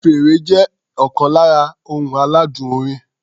Fèrè jẹ́ ọ̀kan lára ohun aládùn orin.